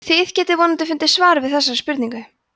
þið getið vonandi fundið svar við þessari spurningu